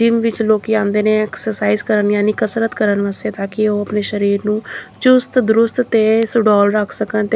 gym ਵਿੱਚ ਲੋਕੀ ਆਉਂਦੇ ਨੇ ਐਕਸਰਸਾਈਜ਼ ਕਰਨ ਯਾਨੀ ਕਸਰਤ ਕਰਨ ਵਾਸਤੇ ਤਾਂ ਕਿ ਉਹ ਆਪਣੇ ਸਰੀਰ ਨੂੰ ਚੁਸਤ ਦਰੁਸਤ ਤੇ ਸਡੋਲ ਰੱਖ ਸਕਣ ਤੇ --